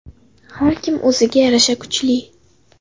Har kim o‘ziga yarasha kuchli.